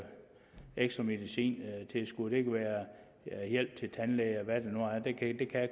ekstra medicintilskud og det kan være hjælp til tandlæge og hvad det nu er det kan